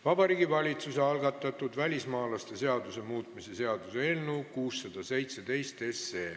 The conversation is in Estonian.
Vabariigi Valitsuse algatatud välismaalaste seaduse muutmise seaduse eelnõu 617.